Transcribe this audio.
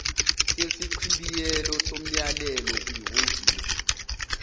sesichibiyelo somyalelo kwihhovisi